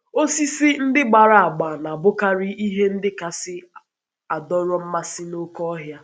Osisi ndị gbara agba na - abụkarị ihe ndị kasị adọrọ mmasị n’oké ọhịa.